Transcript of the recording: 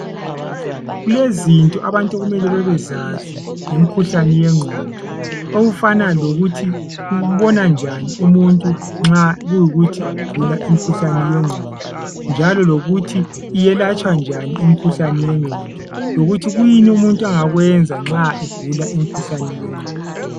Kulezinto abantu okumele bazazi ngomkhuhlane wengqondo. Ukuthi ubonakala njani owugulayo lowomkhuhlane. Lokuthi umkhuhlane lo welatshwa njani. Kanye lokuthi owugulayo, kumele ensiweni.